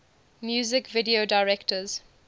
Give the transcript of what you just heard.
music video directors